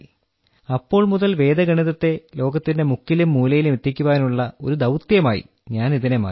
അപ്പോൾ മുതൽ വേദഗണിതത്തെ ലോകത്തിന്റെ മുക്കിലും മൂലയിലും എത്തിക്കുവാനുള്ള ഒരു ദൌത്യമായി ഇതിനെ ഞാൻ മാറ്റി